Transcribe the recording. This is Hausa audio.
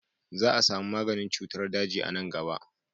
Za a samu maganin cutar daji a nan gaba.